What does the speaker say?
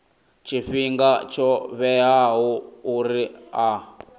tshifhinga tsho vhewaho uri a